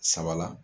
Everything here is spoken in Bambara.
Saba la